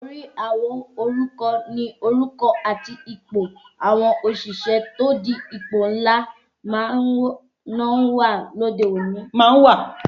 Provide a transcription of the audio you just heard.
Orí àwo oruko ni orúkọ àti ipò àwọn òṣìṣẹ́ tí ó di ipò ńlá máa ń wà lóde òní